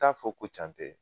T'a fɔ ko can tɛ